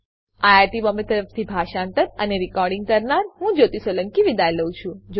IIT Bombay તરફથી હું જ્યોતી સોલંકી વિદાય લઉં છું